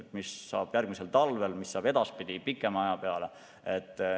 Ja mis saab järgmisel talvel, mis saab edaspidi, pikema aja jooksul.